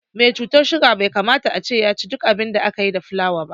Me cutar suga bai kamata ace yaci duk abin da aka yi da fulawa ba